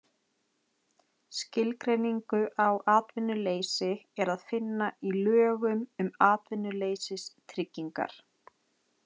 Skilgreiningu á atvinnuleysi er að finna í lögum um atvinnuleysistryggingar.